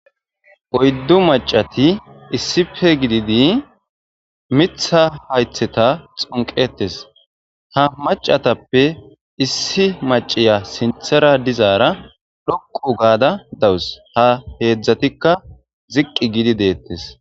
Oyddu maccati issippe gididi miththa hayththeta xunqqetees. Ha maccatape issi macciya sinthara dizaara xoqqu gada dawus. Ha heedzdzatikka ziqqi gidi deetees.